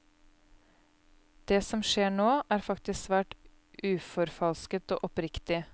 Det som skjer nå, er faktisk svært uforfalsket og oppriktig.